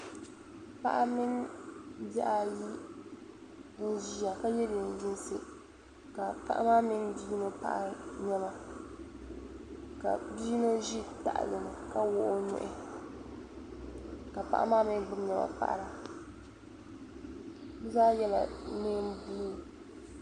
Paɣa mini bihi ayi n ʒiya ka ye neen'yinsi ka paɣa maa mini bi' yino paɣiri nema ka bi yino ʒi taɣili ni ka wuɣi o nuhi ka maa mi gbubi nema paɣira bi zaa yela neen'blue.